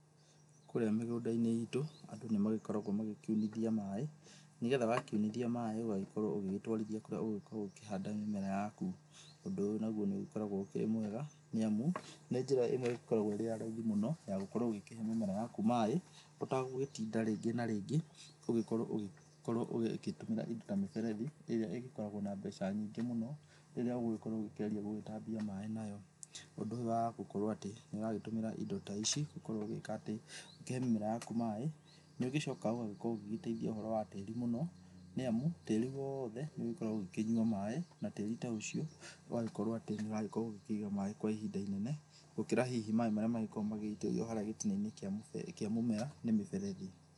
Kũrĩa mĩgũnda-inĩ itũ andũ nĩmagĩkoragwo magĩkiunithia maĩ, nĩgetha wakiunithia maĩ ũgagĩkorwo ũgĩgĩtwarithia kũrĩa ũgũgĩkorwo ũgĩkĩhanda mĩmera yaku. Ũndũ ũyũ naguo nĩ ũgĩkoragwo ũkĩrĩ mwega nĩ amu, nĩ njira ĩmwe ĩgĩkoragwo ĩ ya raithi mũno ya gũkorwo ũgĩkĩhe mĩmera yaku maĩ, ũtagũgĩtinda rĩngĩ na rĩngĩ ũgĩgĩkorwo ũgĩkorwo ũgĩtũmĩra indo ta mĩberethi, ĩrĩa ĩgĩkoragwo na mbeca nyingĩ mũno, rĩrĩa ũgũgĩkorwo ũkĩgeria gũgĩtambia maĩ nayo. Ũndũ ũyũ wa gũgĩkorwo atĩ nĩ ũragĩtũmĩra indo ta ici gũkorwo ũgĩka atĩ, ũkĩhe mĩmera yaku maĩ, nĩ ũgĩcokaga ugagĩkorwo ũgĩgĩteithia ũhoro wa tĩĩri mũno, nĩ amu tĩĩri wothe nĩ ũgĩkoragwo ũgĩkĩnyua maĩ, na tĩĩri ta ũcio ũgagĩkorwo atĩ nĩ ũragĩkorwo ũgĩkĩiga maĩ kwa ihinda inene, gũkĩra hihi maĩ marĩa magĩkoragwo magĩgĩitĩrĩrio harĩa gĩtina-inĩ kĩa mũmera nĩ mũberethi.